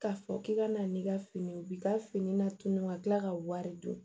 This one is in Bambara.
K'a fɔ k'i ka na n'i ka fini u bi ka fini latunu ka kila ka wari don